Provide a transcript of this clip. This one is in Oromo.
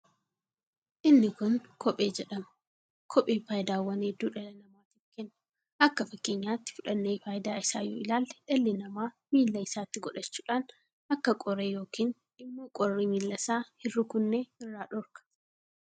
Inni kun kophee jedhama. Kopheen faayidaawwan hedduu dhala namaatiif kenna. Akka fakkeeenyatti fudhannee faayidaa isaa yoo ilaalle dhalli nama miila isaatti godhachuudhaan akka qoree yookiin immo qorri miila isaa hin rukunne irraa dhoorka.